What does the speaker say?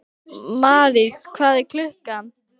Marís, hvað er klukkan?